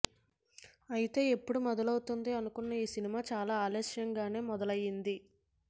అయితే ఎప్పుడో మొదలు అవుతుంది అనుకున్న ఈ సినిమా చాలా ఆలస్యంగానే మొదలయ్యింది